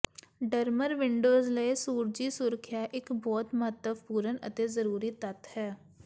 drummer windows ਲਈ ਸੂਰਜੀ ਸੁਰੱਖਿਆ ਇੱਕ ਬਹੁਤ ਮਹੱਤਵਪੂਰਨ ਅਤੇ ਜ਼ਰੂਰੀ ਤੱਤ ਹੈ